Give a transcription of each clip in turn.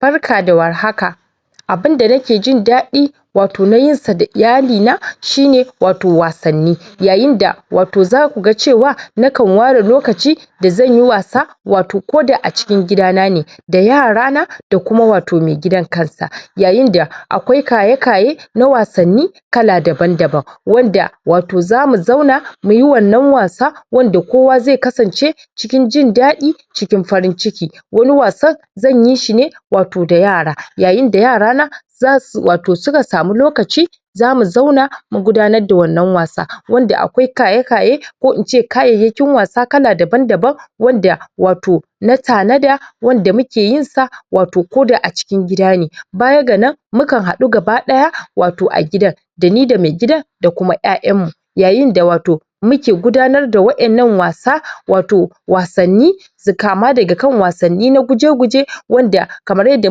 Barka da war haka. abunda nake jindaɗi wato na yinsa da iyalina shine wato wasanni yaayinda wato zakuga cewa nakan ware lokaci da zanyi wasa wato koda a cikin gida nane, da yarana da kuma wato mai gidan kansa yaayinda akwai kaye-kaye na wasanni kala daban-daban wanda wato zamu zauna muyi wannan wasa wanda kowa ze kasance cikin jindaɗi cikin farin ciki, wani wasan zanyi shine wato da yara, yaayinda yarana zasu wato suka samu lokaci zamu zauna mu gudanar da wannan wasa, wanda akwai kaye-kaye ko ince kayayyakin wasa kala daban-daban wanda wato na tanada wanda muke yinsa wato koda a cikin gida ne. Baya ganan, mukan hadu gaba daya wato a gidan dani da mai gida, da kuma 'yayanmu yaayinda wato muke guda nar da wa'yannan wasa wato wasaanni, su kama daga kan wasanni na guje-guje wanda kamar yadda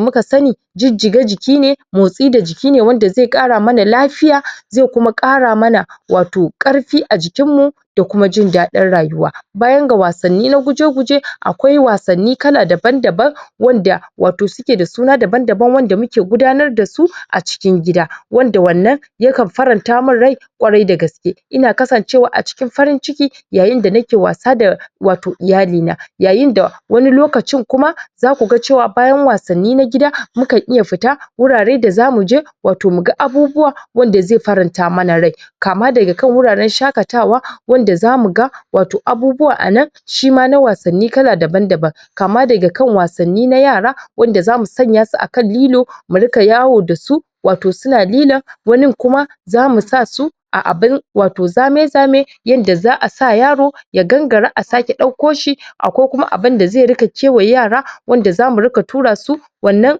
muka sani jijjiga jiki ne motsi da jiki ne wanda ze kara mana lafiya ze kuma kara mana wato karfi a jikin mu da kuma jindaɗin rayuwa. Bayan ga wasanni na guje-guje akwai wasanni kala daban-daban wanda wato suke da suna daban-daban wanda muke gudanar dasu a cikin gida, wanda wannan yakan farantamin rai kwarai da gaske, ina kasancewa a cikin farin ciki yaayinda nake wasa da wato iyalina. Yaayinda wani lokacin kuma za kuga cewa bayan wasanni na gida mukan iya fita wurare da zamuje wato muga abubuwa wadda ze faranta mana rai kama daga kan wura ran shaƙatawa wanda zamuga wato abubuwa anan shima na wanni kala daban-daban, kama daga kan wasanni na yara wanda zamu sanyasu akan lilo, mu rika yawo dasu wato suna lilon wanin kuma zamu sasu a abin wato zame-zame yanda za'a sa yaro ya gangara a sake dauko shi a ko kuma abinda ze rika kewaye yara wanda zamu rika turasu wannan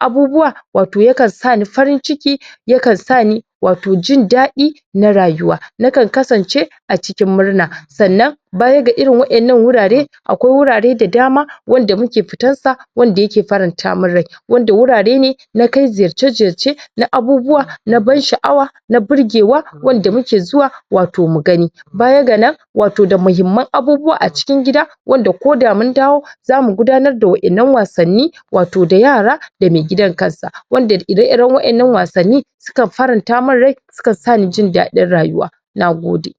abubuwa wato yakan sani farin-ciki, yakan sani wato jindaɗi na rayuwa nakan kasance a cikin murna sannan baya ga irin wa'yannan wurare akwai wurare da dama wanda muke fitar sa, wanda yake faranta min rai wanda wurare ne nakai ziyarce-ziyarce na abubuwa na ban sha'awa, na burgewa wanda muke zuwa wato mu gani. Baya ganan wato da muhimman abubuwa a cikin gida wanda koda mun dawo zamu gudanar da wa'yannan wasanni wato da yara da mai gidan kansa wanda ire-iren wa'yannan wasanni sukan farantamin rai sukan sani jindaɗin rayuwa, nagode.